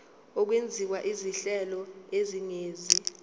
okwenziwa izinhlelo ezingenisa